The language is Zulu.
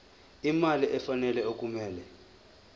imali efanele okumele